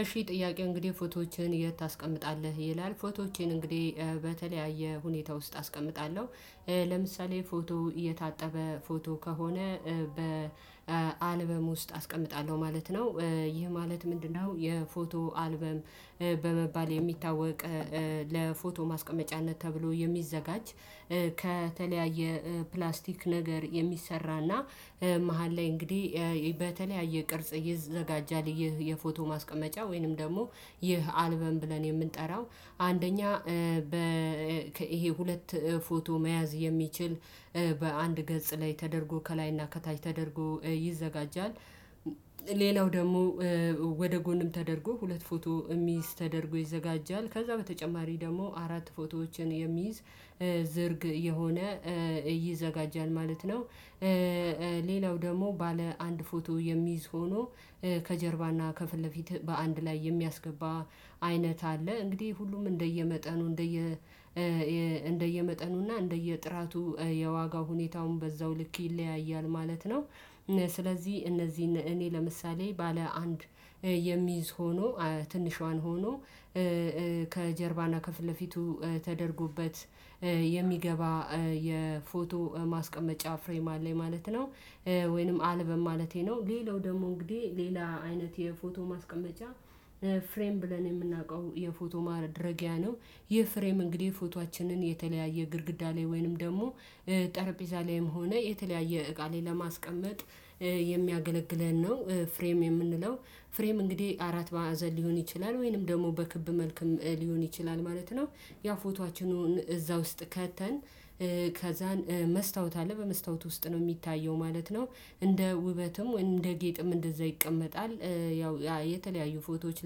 እሺ ጥያቄው እንግዲህ ፎቶዎችን የት ታስቀምጣለህ ይላል? ፎቶዎችን እንግዲህ በተለያየ ሁኔታ ውስጥ አስቀምጣለሁ። ለምሳሌ ፎቶ እየታጠበ ፎቶ ከሆነ በ አልበም ውስጥ አስቀምጣለሁ ማለት ነው። ይህ ማለት ምንድነው? የፎቶ አልበም በመባል የሚታወቅ ማስቀመጫነት ተብሎ የሚዘጋጅ። ከተለያየ ፕላስቲክ ነገር የሚሰራና መሃል ላይ እንግዲህ በተለያየ ቅርጽ ይዘጋጃል። ይህ የፎቶ ማስቀመጫ ወይንም ደግሞ ይህ አልበም ብለን የምንጠራው። አንደኛ በ ይሄ ሁለት ፎቶ መያዝ የሚችል በአንድ ገጽ ላይ ተደርጎ ከላይና ከታች ተደርጎ ይዘጋጃል። ደግሞ ወደ ጎንም ተደርጎ ሁለት ፎቶ የሚይዝ ተደርጎ ይዘጋጃል። ከዛ በተጨማሪ ደግሞ አራት ፎቶዎችን የሚይዝ ዝርግ የሆነ ይዘጋጃል ማለት ነው። ሌላው ደግሞ ባለ አንድ ፎቶ የሚይዝ ሆኖ ከጀርባና ከፊት ለፊት በአንድ ላይ የሚያስገባ አይነት አለ። እንግዲህ ሁሉም እንደየመጠኑ እንደየ እንደየመጠኑና እንደየጥራቱ የዋጋው ሁኔታውን በዛው ልክ ይለያያል ማለት ነው። ስለዚህ እነዚህን እኔ ለምሳሌ ባለ አንድ የሚይዝ ሆኖ ትንሿን ሆኖ ከጀርባና ከፍለፊቱ ተደርጎበት የሚገባ የፎቶ ማስቀመጫ ፍሬም አለኝ ማለት ነው። ወይንም አልበም ማለቴ ነው ሌላው ደግሞ እንግዲህ ሌላ አይነት የፎቶ ማስቀመጫ ፍሬም ብለን የምናውቀው የፎቶ ማድረጊያ ነው። ይህ ፍሬም እንግዲህ ፎቶአችንን የተለያየ ግድግዳ ላይ ወይንም ደግሞ ጠረጴዛ ላይም ሆነ የተለያየ እቃ ላይ ለማስቀመጥ የሚያገለግለን ነው። ፍሬም የምንለው ፍሬም እንግዲህ አራት ማዕዘን ሊሆን ይችላል ወይንም ደግሞ በክብ መልክም ሊሆን ይችላል ማለት ነው። ያ ፎቶአችንን እዛ ውስጥ ከተን ከዛን መስታወት አለ በመስታወት ውስጥ ነው የሚታየው ማለት ነው። እንደ ውበትም እንደ ጌጥም እንደዛ ይቀመጣል። ያው የተለያዩ ፎቶዎች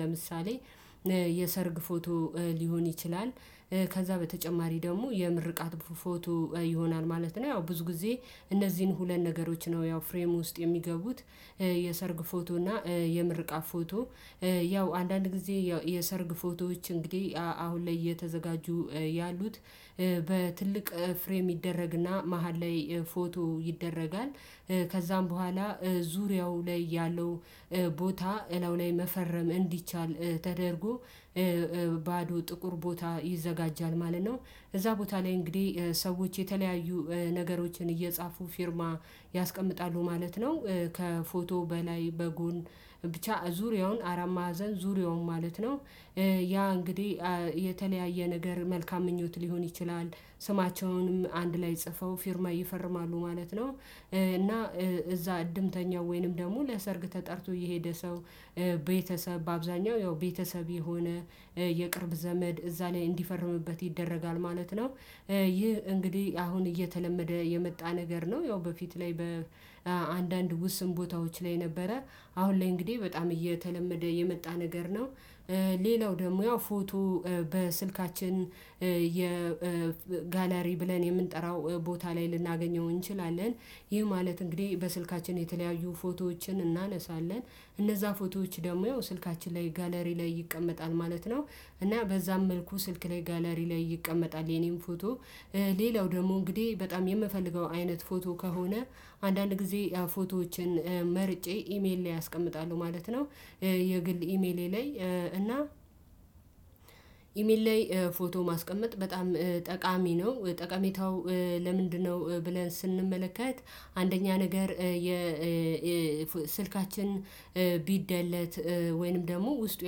ለምሳሌ የሰርግ ፎቶ ሊሆን ይችላል። ከዛ በተጨማሪ ደግሞ የምርቃት ፎቶ ይሆናል ማለት ነው ያው ብዙ ጊዜ እነዚህን ሁለት ነገሮች ነው ያው ፍሬም ውስጥ የሚገቡት። የሰርግ ፎቶ እና የምርቃት ፎቶ ያው አንዳንድ ጊዜ ያው የሰርግ ፎቶዎች እንግዲህ አሁን ላይ እየተዘጋጁ ያሉት በትልቅ ፍሬም ይደረግና መሃል ላይ ፎቶ ይደረጋል። ከዛም በኋላ ዙሪያው ላይ ያለው ቦታ እላዩ ላይ መፈረም እንዲቻል ተደርጎ ባዶ ጥቁር ቦታ ይዘጋጃል ማለት ነው። እዛ ቦታ ላይ እንግዲህ ሰዎች የተለያዩ ነገሮችን እየጻፉ ፊርማ ያስቀምጣሉ ማለት ነው። ከፎቶ በላይ በጎን ብቻ ዙሪያውን አራት ማዕዘን ዙሪያውን ማለት ነው። ያ እንግዲህ የተለያየ ነገር መልካም ምኞት ሊሆን ይችላል። ስማቸውንም አንድ ላይ ጽፈው ፊርማ ይፈርማሉ ማለት ነው። እና እዛ እድምተኛው ወይንም ደግሞ ለሰርግ ተጠርቶ የሄደ ሰው ቤተሰብ በአብዛኛው ያው ቤተሰብ የሆነ የቅርብ ዘመድ እዛ ላይ እንዲፈርምበት ይደረጋል ማለት ነው። ይህ እንግዲህ አሁን እየተለመደ የመጣ ነገር ነው ያው በፊት ላይ በአንዳንድ ውስን ቦታዎች ላይ ነበረ። አሁን ላይ እንግዲህ በጣም እየተለመደ የመጣ ነገር ነው። ሌላው ደግሞ ያው ፎቶ በስልካችን የጋላሪ ብለን የምንጠራው ቦታ ላይ ልናገኘው እንችላለን። ይህ ማለት እንግዲህ በስልካችን የተለያዩ ፎቶዎችን እናነሳለን እነዛ ፎቶዎች ደግሞ ያው ስልካችን ላይ ጋለሪ ላይ ይቀመጣል ማለት ነው። እና በዛም መልኩ ስልክ ላይ ጋላሪ ላይ ይቀመጣል የኔም ፎቶ ሌላው ደግሞ እንግዲህ በጣም የምፈልገው አይነት ፎቶ ከሆነ አንዳንድ ጊዜ ያ ፎቶዎችን መርጬ ኢሜል ላይ አስቀምጣለሁ ማለት ነው። የግል ኢሜሌ ላይ እና ኢሜል ላይ ፎቶ ማስቀመጥ በጣም ጠቃሚ ነው ጠቀሜታው ለምንድነው? ብለን ስንመለከት አንደኛ ነገር የስልካችን ቢደለት ወይንም ደግሞ ውስጡ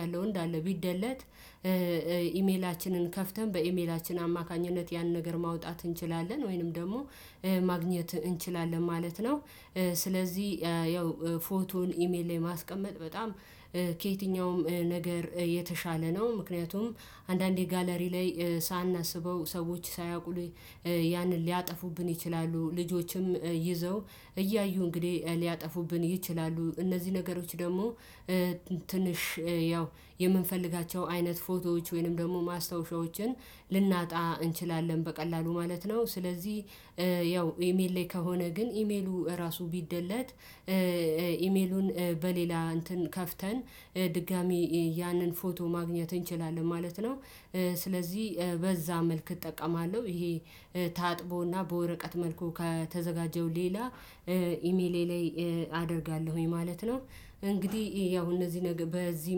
ያለው እንዳለ ቢደለት ኢሜላችንን ከፍተን በኢሜላችን አማካኝነት ያን ነገር ማውጣት እንችላለን ወይንም ደግሞ ማግኘት እንችላለን ማለት ነው። ስለዚህ ያው ፎቶን ኢሜል ላይ ማስቀመጥ በጣም ከየትኛውም ነገር የተሻለ ነው። ምክንያቱም አንዳንዴ ጋለሪ ላይ ሳናስበው ሰዎች ሳያውቁ ያንን ሊያጠፉብን ይችላሉ ልጆችም ይዘው እያዩ እንግዲህ ሊያጠፉብን ይችላሉ። እነዚህ ነገሮች ደግሞ ትንሽ ያው የምንፈልጋቸው አይነት ፎቶዎች ወይንም ደግሞ ማስታወሻዎችን ልናጣ እንችላለን በቀላሉ ማለት ነው። ስለዚህ ያው ኢሜል ላይ ከሆነ ግን ኢሜሉ ራሱ ቢደለት ኢሜሉን በሌላ እንትን ከፍተን ድጋሚ ያንን ፎቶ ማግኘት እንችላለን ማለት ነው። ስለዚህ በዛ መልክ እጠቀማለሁ። ይሄ ታጥቦና በወረቀት መልኩ ከተዘጋጀው ሌላ ኢሜሌ ላይ አደርጋለሁኝ ማለት ነው። እንግዲህ ያው እነዚህ ነገር በዚህ